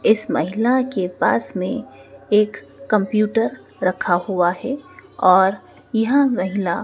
इस महिला के पास में एक कंप्यूटर रखा हुआ है और यह महिला--